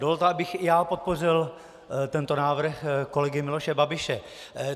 Dovolte, abych i já podpořil tento návrh kolegy Miloše Babiše.